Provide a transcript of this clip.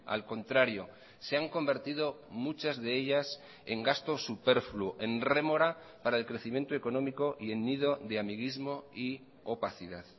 al contrario se han convertido muchas de ellas en gasto superfluo en rémora para el crecimiento económico y en nido de amiguismo y opacidad